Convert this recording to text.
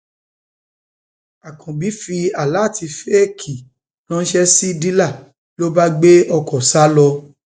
àkànbí fi aláàtì fẹẹkí ránṣẹ sí dílà ló bá gbé ọkọ sá lọ